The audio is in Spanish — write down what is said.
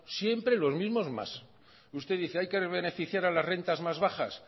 siempre los mismos más usted dice que hay que beneficiar a las rentas más bajas